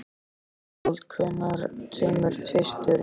Ísfold, hvenær kemur tvisturinn?